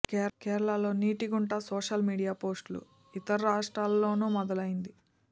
కేరళలో నీటి గంట సోషల్ మీడియా పోస్టులు ఇతర రాష్ట్రాల్లోనూ మొదలైంది